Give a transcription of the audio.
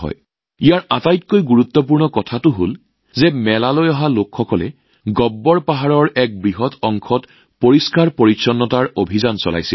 ইয়াৰ আটাইতকৈ উল্লেখযোগ্য দিশটো হল যে মেলালৈ অহা লোকসকলে গব্বৰ পাহাৰৰ এক বৃহৎ অংশত স্বচ্ছতাৰ অভিযান চলাইছিল